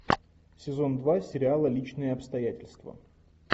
сезон два сериала личные обстоятельства